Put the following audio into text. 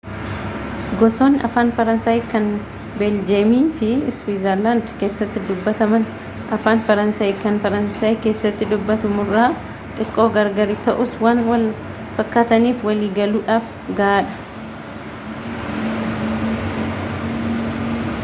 gosoonni afaan faransaayi kan beeljeemii fi siwiizerlaandi keessatti dubatamanii afaan faransaayi kan faransaayi keessatti dubatamurraa tiqqoo gargari ta'us waan wal fakkaataniif walii galuudhaaf gahaa dha